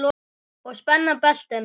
Og spenna beltin.